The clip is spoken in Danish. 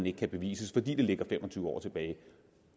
ikke kan bevises fordi det ligger fem og tyve år tilbage